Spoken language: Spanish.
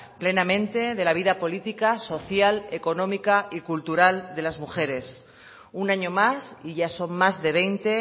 plenamente de la vida política social económica y cultural de las mujeres un año más y ya son más de veinte